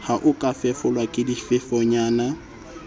ho ka fefolwa ke difefonyana